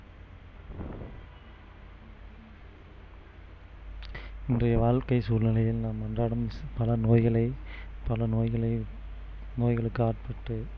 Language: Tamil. இன்றைய வாழ்க்கை சூழ்நிலையில் நாம் அன்றாடம் பல நோய்களை பல நோய்களை நோய்களுக்கு ஆட்பட்டு